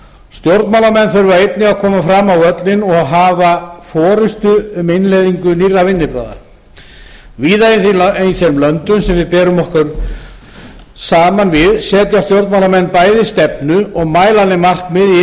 stjórnmálamenn þurfa einnig að koma fram á völlinn og hafa forustu um innleiðingu nýrra vinnubragða víða í þeim löndum sem við berum okkur saman við setja stjórnmálamenn bæði stefnu og mælanleg markmið í